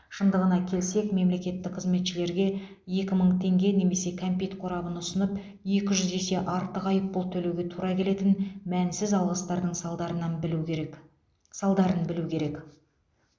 шындығына келсек мемлекеттік қызметшілерге екі мың теңге немесе кәмпит қорабын ұсынып екі жүз есе артық айыппұл төлеуге тура келетін мәнсіз алғыстардың салдарынан білу керек салдарын білу керек